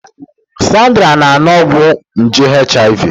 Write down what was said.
Sandra na-aṅụ ọgwụ nje HIV